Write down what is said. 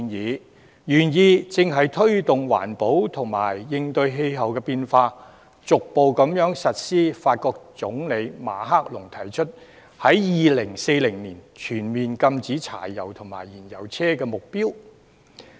該建議的原意正是推動環保及應對氣候變化，逐步落實法國總統馬克龍所提出，在2040年全面禁止柴油及燃油車的目標。